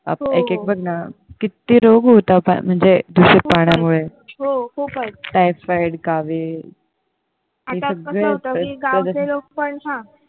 एक एक बघ ना किती रोग होतात म्हणजे दूषित पाण्यामुळे टायफॉईड कावीळ